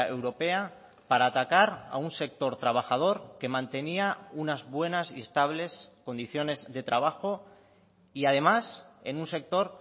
europea para atacar a un sector trabajador que mantenía unas buenas y estables condiciones de trabajo y además en un sector